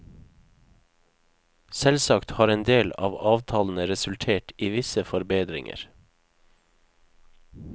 Selvsagt har en del av avtalene resultert i visse forbedringer.